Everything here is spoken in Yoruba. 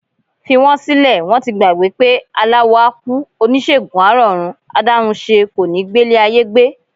Fi wọ́n sílẹ̀, wọ́n ti gbàgbé pé aláwo á kú, oníṣègùn á rọ̀run, adáhunṣe kò ní gbélé ayé gbé.